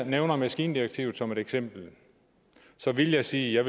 nævner maskindirektivet som et eksempel vil jeg sige at